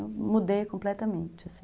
Eu mudei completamente, assim.